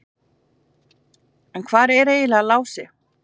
En hvar er eiginlega Lási?